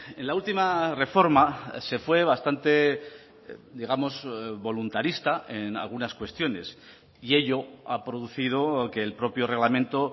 en la última reforma se fue bastante digamos voluntarista en algunas cuestiones y ello ha producido que el propio reglamento